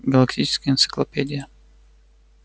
галактическая энциклопедия